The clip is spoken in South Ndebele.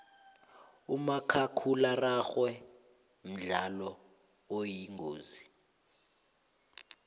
umakhakhulararhwe mdlalo oyingozi